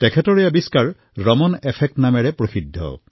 তেওঁৰ এই অন্বেষণ ৰামান ইফেক্ট নামেৰে জনাজাত হয়